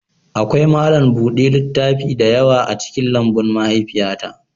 Akwai malam buɗe littaf da yawa a cikin lambun mahaifiyata